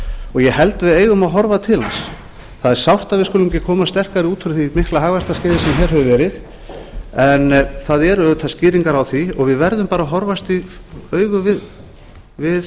og ég held að við eigum að horfa til hans það er sárt að við skulum ekki koma sterkari út úr því mikla hagvaxtarskeiði sem hér hefur verið en það eru auðvitað skýringar á því og við verðum bara að horfast í augu við